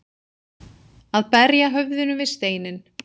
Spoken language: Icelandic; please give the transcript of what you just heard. Að berja höfðinu við steininn